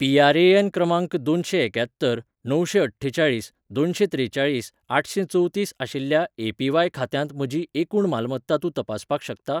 PRAN. क्रमांक दोनशेंएक्यात्तर णवशेंअठ्ठेचाळीस दोनशेंत्रेचाळीस आठशेंचवतीस आशिल्ल्या ए.पी.व्हाय. खात्यांत म्हजी एकूण मालमत्ता तूं तपासपाक शकता ?